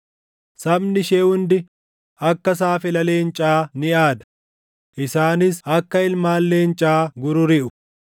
Sabni ishee hundi akka saafela leencaa ni aada; isaanis akka ilmaan leencaa gururiʼu.